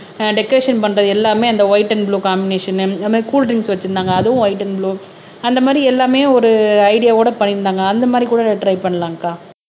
ஆஹ் decoration பண்றது எல்லாமே அந்த வைட் அண்ட் ப்ளூ காம்பினேஷன் அதே மாரி கூல் டிரிங்க்ஸ் வச்சிருந்தாங்க அதுவும் வைட் அண்ட் ப்ளூ அந்த மாதிரி எல்லாமே ஒரு ஐடியாவோட பண்ணியிருந்தாங்க அந்த மாதிரி கூட டிரை பண்ணலாங்கக்கா